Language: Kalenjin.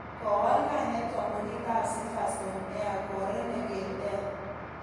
Kowal kainet kampuniit ap Silverstone Air kwo Renegade air